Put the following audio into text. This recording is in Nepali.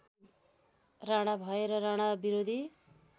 राणा भएर राणाविरोधी